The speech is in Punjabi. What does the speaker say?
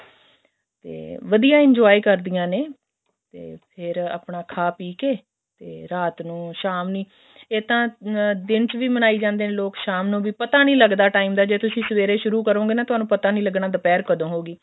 ਤੇ ਵਧੀਆ enjoy ਕਰਦੀਆਂ ਨੇ ਤੇ ਫ਼ੇਰ ਆਪਣਾ ਖਾ ਪਈ ਕੇ ਤੇ ਰਾਤ ਨੂੰ ਸ਼ਾਮ ਨੂੰ ਇਹ ਤਾਂ ਦਿਨ ਚ ਵੀ ਮਨਾਈ ਜਾਂਦੇ ਨੇ ਲੋਕ ਸ਼ਾਮ ਨੂੰ ਵੀ ਪਤਾ ਨੀ ਲੱਗਦਾ time ਦਾ ਜੇ ਤੁਸੀਂ ਸਵੇਰੇ ਸ਼ੁਰੂ ਕਰੋਂਗੇ ਤੁਹਾਨੂੰ ਪਤਾ ਨੀ ਲੱਗਣਾ ਦੁਪਹਿਰ ਕਦੋਂ ਹੋਗੀ